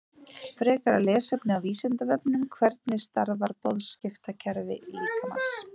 Turninn er hæsta bygging í heimi